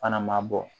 Fana ma bɔ